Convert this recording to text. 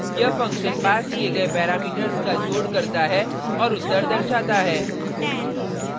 यह फंक्शन पास किये गये पैरामीटर्स का जोड़ करता है और उत्तर दर्शाता है